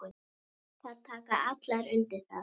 Þær taka allar undir það.